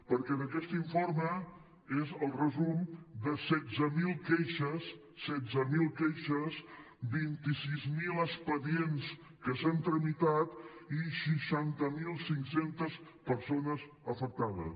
perquè aquest informe és el resum de setze mil queixes setze mil queixes vint sis mil expedients que s’han tramitat i seixanta mil cinc cents persones afectades